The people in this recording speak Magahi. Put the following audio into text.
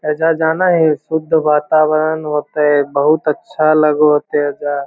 ऐजा जाना ही शुद्ध वतावरण होते बहुत अच्छा लागो होते एजा।